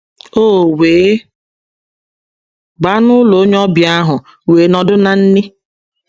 “ O wee baa n’ụlọ onye ọbia ahụ, wee nọdụ ná nri.